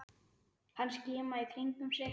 Hann skimaði í kringum sig.